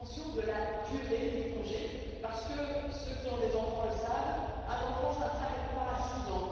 et de la durée du congé, parce que ceux qui ont des enfants le savent un enfant ne s'arrête pas à 6 ans.